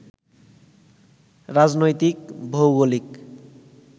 রাজনৈতিক, ভৌগোলিক